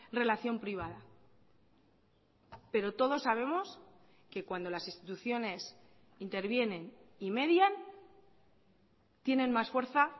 relación privada pero todos sabemos que cuando las instituciones intervienen y median tienen más fuerza